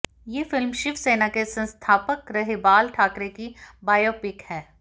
ये फिल्म शिव सेना के संस्थापक रहे बाल ठाकरे की बायोपिक है